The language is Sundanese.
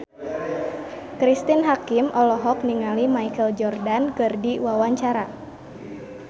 Cristine Hakim olohok ningali Michael Jordan keur diwawancara